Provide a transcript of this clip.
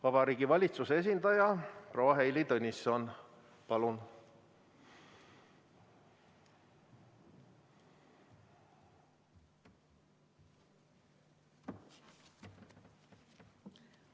Vabariigi Valitsuse esindaja proua Heili Tõnisson, palun!